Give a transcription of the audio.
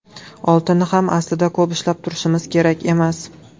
Oltinni ham aslida ko‘p ushlab turishimiz kerak emas.